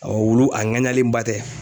Awɔ wulu a ŋaɲalenba tɛ